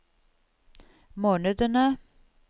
månedene